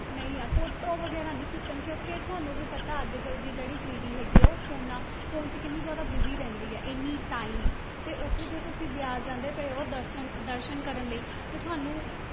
ਨਹੀਂ ਯਾਰ photo ਵਗ਼ੈਰਾ ਨੀ ਖਿੱਚਣ ਕਿਉਂਕਿ ਤੁਹਾਨੂੰ ਵੀ ਪਤਾ ਅੱਜ ਕੱਲ੍ਹ ਦੀ ਜਿਹੜੀ ਪੀੜ੍ਹੀ ਹੈਗੀ ਆ, ਉਹ phones phone 'ਚ ਕਿੰਨੀ ਜ਼ਿਆਦਾ busy ਰਹਿੰਦੀ ਆ, ਇੰਨੀ time ਤੇ ਉੱਥੇ ਜੇ ਤੁਸੀਂ ਬਿਆਸ ਜਾਂਦੇ ਪਏ ਹੋ ਦਰਸਨ ਦਰਸਨ ਕਰਨ ਲਈ ਤੇ ਤੁਹਾਨੂੰ